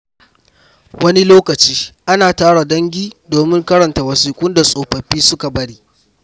Wani lokaci, ana tara dangi domin karanta wasiƙun da tsofaffi suka bari.